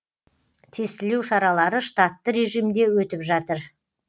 тестілеу шаралары штатты режимде өтіп жатыр